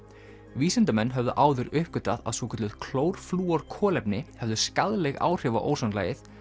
vísindamenn höfðu áður uppgötvað að svokölluð klórflúorkolefni höfðu skaðleg áhrif á ósonlagið